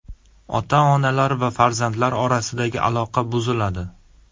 Ota-onalar va farzandlar orasidagi aloqa buziladi.